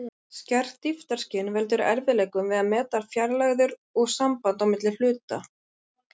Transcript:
Skert dýptarskyn veldur erfiðleikum við að meta fjarlægðir og samband á milli hluta.